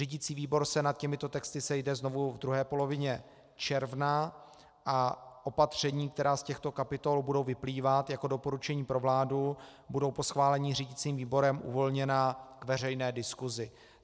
Řídicí výbor se nad těmito texty sejde znovu v druhé polovině června a opatření, která z těchto kapitol budou vyplývat jako doporučení pro vládu, budou po schválení řídicím výborem uvolněna k veřejné diskusi.